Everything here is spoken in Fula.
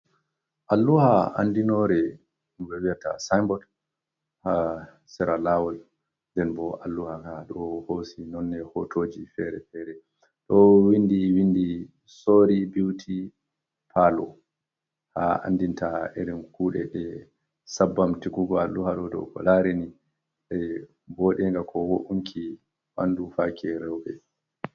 Alluha andinore vie te ga sinbod ha siralawol den bo alluha ka do hosi nonne hotoji fere-fere do windi windi sori beauti pallo ha andinta irin kude e sbb t alluhar do go larini de bodega ko bo’unki wandu fake reu’e.